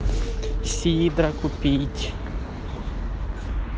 сидра купить